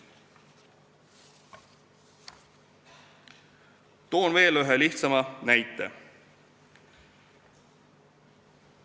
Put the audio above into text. Toon veel ühe, lihtsama näite.